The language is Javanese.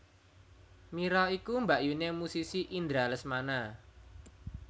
Mira iku mbakyuné musisi Indra Lesmana